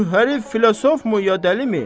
Şu hərifi filosofmu ya dəlimi?